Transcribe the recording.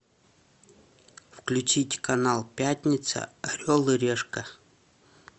включить канал пятница орел и решка